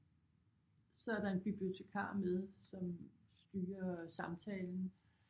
Så er der en bibliotekar med som styrer samtalen